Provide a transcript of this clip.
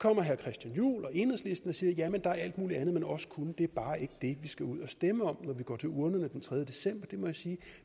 kommer herre christian juhl og enhedslisten og siger at jamen der er alt mulig andet man også kunne det er bare ikke det vi skal ud og stemme om når vi går til urnerne den tredje december det må jeg sige